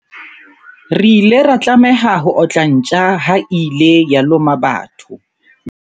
Re ile ra tlameha ho otla ntja ha e ile ya loma batho.